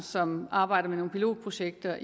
som arbejder med nogle pilotprojekter